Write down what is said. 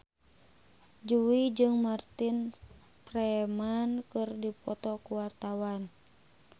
Jui jeung Martin Freeman keur dipoto ku wartawan